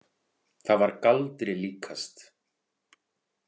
Það var galdri líkast.